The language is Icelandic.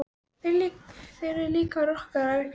Þið eruð líka rokkarar ekki satt?